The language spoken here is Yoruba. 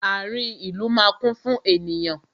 Ààrin ìlú máa kún fún ènìyàn